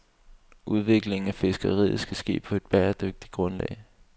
Udvikling af fiskeriet skal ske på et bæredygtigt grundlag.